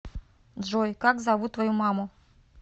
джой как зовут твою маму